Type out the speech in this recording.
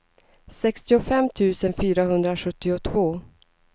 sextiofem tusen fyrahundrasjuttiotvå